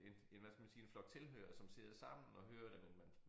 En en hvad skal man sige en flok tilhørere som sidder sammen og hører det men man